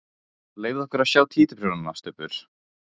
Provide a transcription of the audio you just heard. Leyfðu okkur að sjá títuprjónana, Stubbur!